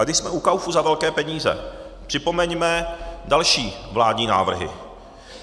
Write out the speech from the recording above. A když jsme u kaufu za velké peníze, připomeňme další vládní návrhy.